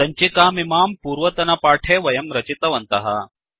सञ्चिकामिमां पूर्वतनपाठे वयं रचितवन्तः